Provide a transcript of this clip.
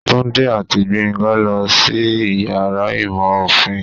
Tunde ati Gbenga losí iyàrá ìmọ ofín